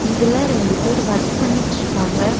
இதுல ரெண்டு பேர் வர்க் பண்ணிட்ருக்காங்க.